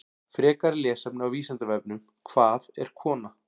Frekara lesefni á Vísindavefnum: Hvað er kona?